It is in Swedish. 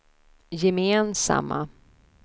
gemensamma